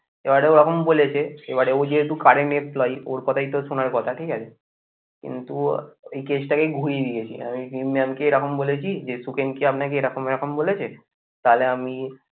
এবারে ওরকম বলেছে এবারে ও যেহেতু current employee ওর কথাই তো শোনার কথা ঠিক আছে কিন্তু এই case টাকেই ঘুরিয়ে দিয়েছে আমি রিম mam কে এরকম বলেছি যে সুখেন কি আপনাকে এরকম এরকম বলেছে? তাহলে আমি